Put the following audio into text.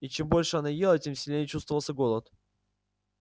и чем больше она ела тем сильнее чувствовался голод